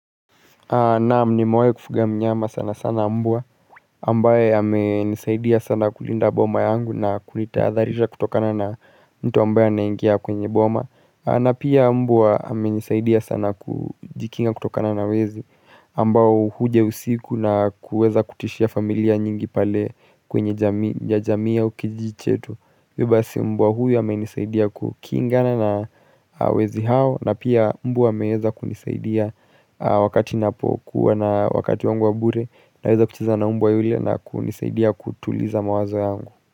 Naam nimewahi kufuga mnyama sana sana mbwa, ambaye amenisaidia sana kulinda boma yangu na kunitahadharisha kutokana na mtu ambaye anaingia kwenye boma na pia mbwa amenisaidia sana kujikinga kutokana na wezi ambao huja usiku na kuweza kutishia familia nyingi pale kwenye jamii au kijiji chetu. Hivyo basi mbwa huyu amenisaidia kukingana na wezi hao na pia mbwa ameweza kunisaidia wakati napokuwa na wakati wangu wa bure naweza kucheza na mbwa yule na kunisaidia kutuliza mawazo yangu.